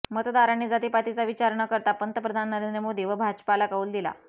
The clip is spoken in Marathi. मतदारांनी जातिपातीचा विचार न करता पंतप्रधान नरेंद्र मोदी व भाजपाला कौल दिला